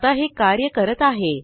आता हे कार्य करत आहे